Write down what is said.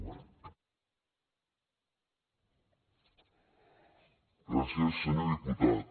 gràcies senyor diputat